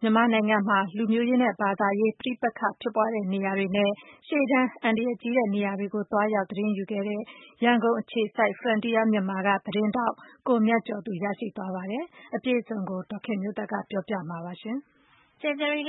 ကို မြန်မာနိုင်ငံမှာ လူမျိုးရေးနဲ့ ဘာသာရေး ပဋိပက္ခဖြစ်ပွါးတဲ့ နေရာတွေနဲ့ ရှေ့တန်းအန္တရာယ်ကြီးတဲ့ နေရာတွေကို သွားရောက်သတင်းယူခဲ့တဲ့ ရန်ကုန်အခြေစိုက် Frontier မြန်မာ သတင်းဌာနက သတင်းထောက် ကိုမြတ်ကျော်သူ ရရှိသွားပါတယ်။ အပြည့်အစုံကို ဒေါ်ခင်မျိုးသက်က ပြောပြပေးမှာပါ။ ဖေဖေါ်ဝါရီလ ၅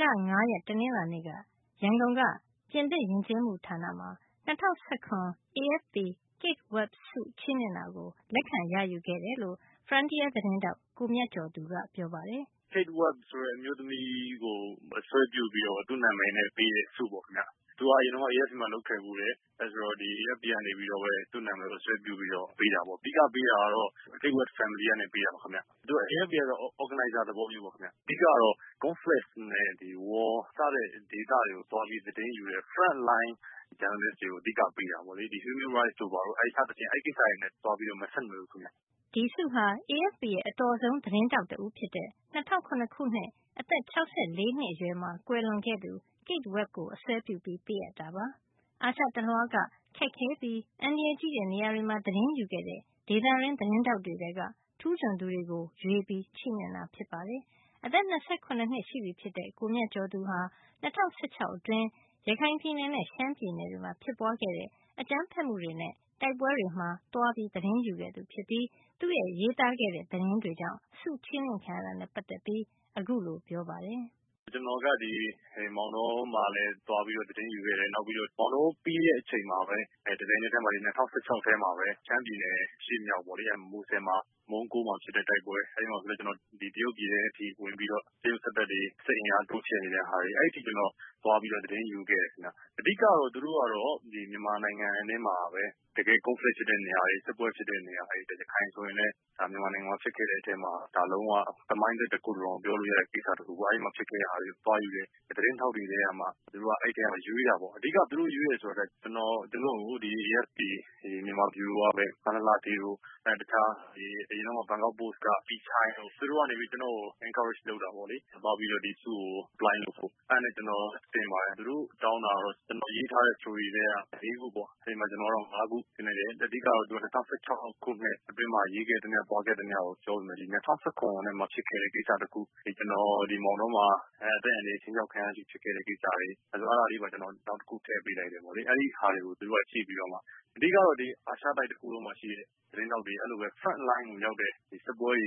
ရက် တနင်္လာနေ့မှာ ရန်ကုန်- ပြင်သစ်ယဉ်ကျေးမှုဌာန French Institute မှာ ၂၀၁၇ AFP Kate Webb ဆု ချီးမြှင့်မှုကို လက်ခံ ရယူ ခဲ့တယ်လို့ Frontier သတင်းထောက်ကိုမြတ်ကျော်သူက ပြောပါတယ်။ " Kate Webb ဆိုတဲ့ အမျိုးသမီးကို အစွဲပြုပြီးတော့ သူ့နာမည်နဲ့ ပေးတဲ့ ဆုပေါ့ခင်ဗျ။ သူက အရင်တုန်းက AFP မှာ လုပ်ခဲ့ဖူးတယ်။ ဒီ AFP ကနေပြီးတော့ သူ့နာမည်ကို စွဲပြုပြီးတော့ ပေးတာပေါ့ ။ အဓိကပေးတာကတော့ Kate Webb Family ကနေ ပေးတာပါခင်ဗျ။ AFP ကတော့ Organizer သဘောမျိုးပေါ့ခင်ဗျ ။ အဓိကတော့ Conflict နဲ့ War စတဲ့ ဒေသတွေကို သွားသတင်းယူတဲ့ Front line Journalist တွေကို အဓိကပေးတာပေါ့လေ။ Human Rights တိုဘာတို့ စတဲ့ ကိစ္စတွေနဲ့ တော့ မဆက်နွယ်ဘူးခင်ဗျ။" ဒီဆုဟာ AFP ရဲ့ အတော်ဆုံး သတင်းထောက်တဦးဖြစ်တဲ့ ၂၀၀၇ ခုနှစ် အသက် ၆၄ နှစ်အရွယ်မှာ ကွယ်လွန်ခဲ့သူ Kate Webb ကို အစွဲပြုပေးအပ်တာပါ။ အာရှတလွှားက ခက်ခဲပြီး အန္တရာယ်ကြီးတဲ့ နေရာတွေမှာသတင်းယူတဲ့ ဒေသတွင်းသတင်းထောက်တွေထဲက ထူးချွန်သူတွေကို ရွေးပြီးပေးတာ ဖြစ်ပါတယ်။ အသက် ၂၇ နှစ်ရှိပြီဖြစ်တဲ့ ကိုမြတ်ကျော်ဟာ ၂၀၁၆ အတွင်း ရခိုင်ပြည်နယ်နဲ့ ရှမ်းပြည်နယ်တွေမှာ ဖြစ်ပွါးတဲ့ အကြမ်းဖက်မှုတွေနဲ့ တိုက်ပွဲတွေမှာ သတင်းသွားယူခဲ့သူ ဖြစ်ပြီး သူရေးသားခဲ့တဲ့ သတင်းတွေကြောင့် ဆုချီးမြှင့်ခံရတာနဲ့ ပတ်သက်ပြီး အခုလို ပြောပါတယ်။ "ကျနေ်ာကဒီ မောင်တောမှာလည်း သွားပြီးတော့ သတင်းယူခဲ့တယ်။ မောင်တောပြီးတဲ့အချိန်မှာပဲ တပြိုင်နက်ထဲမှာ ၂၀၁၆ ထဲမှာပဲ ရှမ်းပြည်နယ် မူဆယ် မှာ မုန်းကိုးမှာ ဖြစ်တယ် ။ အဲဒီမှာဆိုရင်လည်း ကျနော်တရုတ်ပြည် ထဲမှာ ဝင်ပြီးတော့ တရုတ်စစ်တပ်တွေ စစ်အင်အားတိုးချဲ့နေတဲ့ ဟာတွေ အဲဒီအထိ ကျနော်သွားပြီးတော့ သတင်းယူခဲ့တယ်ခင်ဗျ။ အဓိကတော့ သူတို့ကတော့ မြန်မာနိုင်ငံထဲမှာ တကယ့် Conflict ဖြစ်တဲ့နေရာတွေ စစ်ပွဲတွေ ဖြစ်တဲ့နေရာတွေ၊ ရခိုင်ဆိုရင်လည်း မြန်မာနိုင်ငံမှာ ဖြစ်ခဲ့တဲ့အထဲမှာ ဒါလုံး၀ သမိုင်းတွင်လို့တောင်ပြောလို့ရတယ် အဲဒီမှာ ဖြစ်ခဲ့တဲ့နေရာမှာ သွားယူတဲ့ သတင်းထောက်တွေထဲကမှ သူတို့ ရွေးတာပေါ့ ။ အဓိကတော့ သူတို့ရွေးတယ်ဆိုတာက ကျနော် သူတို့ကို AFP မြန်မာ ဗျူရိုက မလှလှဌေး နဲ့ အရင်က ဘန်ကောက်ပိုစ့်က ပီချိုင်းတို့ ကျနော်ကို Encourage လုပ်တာပေါ့။ ဆုကို apply လုပ်ဖို့ အဲဒါနဲ့ ကျနော် တင်ပါတယ်။ တောင်းတာကတော့ ကျနော်ရေးထားတဲ့ Story ထဲက ၄ ခုတောင်းတယ် ကျနော်ကတော့ ၅ ခုတင်လိုက်တယ်။ အဓိကတော့ ၂၀၁၆ ခုထဲမှာ ရေးခဲ့သမျှ သွားခဲ့သမျှကိုပြောပေမယ့် ၂၀၁၇ ထဲမှာ ဖြစ်ခဲ့တဲ့ ကိစ္စတခုကို ကျနော် မောင်တောမှ အသက်အန္တရာယ်ခြိမ်းခြောက်ခံရတဲ့အထိ အဲဒီ Case တွေ အဲဒါလေးပါ ကျနော် နောက်တခု ထည့်ပေးလိုက်တယ်။ အဲဒါကို သူတို့ကြည့်ပြီးတော့ အဓိကတော့ ဒီ အာရှတိုက် သတင်းထောက်တွေ Front Line ကိုရောက်တဲ့ စစ်ပွဲ အ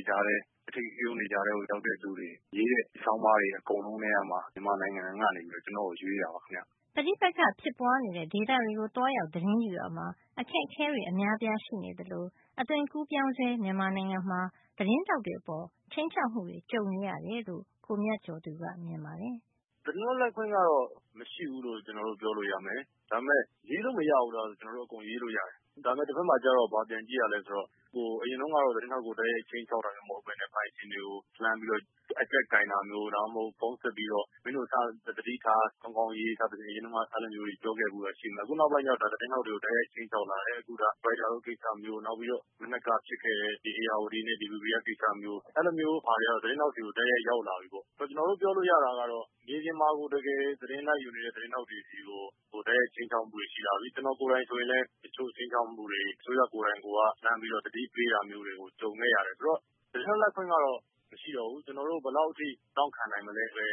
ဓိကရုဏ်း တွေကြားထဲမှာ လုပ်တဲ့သူတွေ ရေးတဲ့ ဆောင်းပါးတွေ အကုန်လုံးကမှ မြန်မာနိုင်ငံကနေ ကျနေ်ာကို ရွေးတာပါခင်ဗျ။" ပဋိပက္ခဖြစ်ပွါးနေတဲ့ဒေသတွေကို သွားရောက်သတင်းယူရာမှာ အခက်အခဲတွေ အများအပြား ရှိနေသလို အသွင်ကူးပြောင်းဆဲ မြန်မာနိုင်ငံမှာ သတင်းထောက်တွေအပေါ် ခြိမ်းခြောက်မှုတွေ ကြုံနေရတယ်လို့ ကိုမြတ်ကျော်သူက ပြောပါတယ်။ "သတင်းလွတ်လပ်ခွင့်ကတော့ မရှိဘူးလို့ ပြောလို့ရမယ်။ ဒါပေမယ့် ရေးလို့မရဘူးလားဆိုတော့ ကျနော်တို့ အကုန်ရေးလို့ရတယ်။ ဒါပေမယ့်ကျနေ်ာတို့ ဘာပြန်ကြည့်ရသလဲဆိုတော့ အရင်တုန်းကတော့ သတင်းထောက်ကို တိုက်ရိုက်ခြိမ်းခြောက်တာမျိုး မဟုတ်ပဲနဲ့ ပိုင်ရှင်တွေကို လှမ်းပြီးတော့ အကျပ်ကိုင်တာမျိုး ၊ ဖုန်းဆက်ပြီးတော့ မင်းတို့စပြီး သတိထား ၊ စာကောင်းကောင်းရေးဆိုပြီးတော့ အရင်တုန်းကတော့ အဲလိုမျိုးတွေ ပြောခဲ့ဖူးတယ်။ အခုနောက်ပိုင်းကတော့ သတင်းထောက်တွေကို တိုက်ရိုက်ခြိမ်းခြောက်လာတယ်။ Reuters လိုကိစ္စမျိုး ၊ မနက်က ဖြစ်ခဲ့တဲ့ ဧရာဝတီနဲ့ DBV ကကိစ၊္စ အဲလိုမျိုး ဟာတွေ ကတော့ သတင်းထောက်တွေကို တိုက်ရိုက်ရောက်လာပြီပေါ့နော်။ ကျနော်တို့ပြောလို့ရတာက မြေပြင်မှာကို တကယ် သတင်းလိုက်ယူနေတဲ့ သတင်းထောက်တွေ ဆီကို ခြိမ်းခြောက်မှုတွေ ရှိလာပြီ ။ ကျနော်ကိုယ်တိုင် ဆိုရင်လည်း ခြိမ်းခြောက်မှုတွေ အစိုးရကိုယ်တိုင်က လှမ်းပြီးတော့ သတိပေးတာတွေကို ကြုံခဲ့ရတယ်။ ဆိုတော့ သတင်းလွတ်လပ်ခွင့်ကတော့ မရှိတော့ဘူး။ ကျနော်တို့ ဘယ်လောက်တောင့်ခံမလဲဆို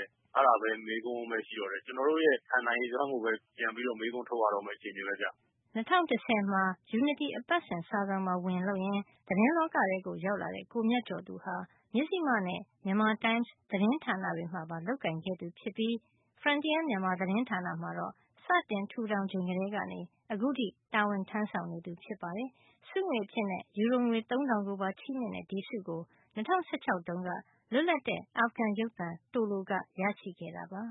တဲ့ မေးခွန်းပဲရှိတော့တယ်။ ကျနော်တို့ရဲ့ ခံနိုင်ရည်စွမ်း ကိုပဲ ပြန်ပြီးတော့ မေးခွန်းထုတ်ရမယ့် အခြေအနေပဲဗျ။" ၂၀၁၀ မှာ ယူနတီ အပတ်စဉ် စာစောင်မှာ ဝင်လုပ်ရင်း သတင်းလောကထဲ ရောက်လာတဲ့ ကိုမြတ်ကျော်သူဟာ မဉ္ဖိမနဲ့ မြန်မာတိုင်းမ်စ် သတင်းဌာန တွေမှာပါ လုပ်ကိုင်ခဲ့သူဖြစ်ပြီး Frontier မြန်မာသတင်းဌာနမှာတော့ စတင်ထူထောင်ချိန်ကတည်းကနေ အခုထိ တာဝန်ထမ်းဆောင် နေသူ ဖြစ်ပါတယ်။ ဆုငွေအဖြစ် ယူရိုငွေ သုံးထောင်ကိုပါချီးမြှင့်တဲ့ ဒီဆုကို ၂၀၁၆ တုန်းက လွတ်လပ်တဲ့ အာဖဂန်ရုပ်သံ Tolo ကရရှိခဲ့တာပါ။